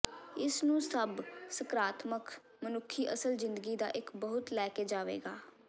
ਇਸ ਨੂੰ ਸਭ ਸਕਰਾਤਮਕ ਮਨੁੱਖੀ ਅਸਲ ਜ਼ਿੰਦਗੀ ਦਾ ਇੱਕ ਬਹੁਤ ਲੈ ਕੇ ਜਾਵੇਗਾ